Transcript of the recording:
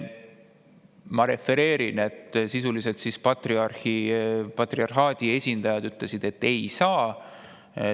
Ma refereerin, et sisuliselt patriarhaadi esindajad ütlesid, et ei saa.